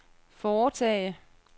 foretage